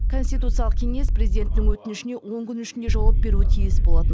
конституциялық кеңес президенттің өтінішіне он күн ішінде жауап беруі тиіс болатын